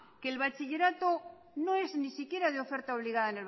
la religión no es ni siquiera de oferta obligada